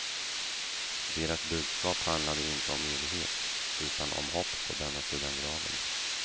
Deras budskap handlade inte om evighet, utan om hopp på denna sidan graven.